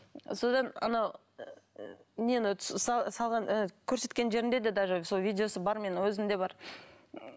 содан анау нені салған ы көрсеткен жерінде де даже сол видеосы бар менің өзімде бар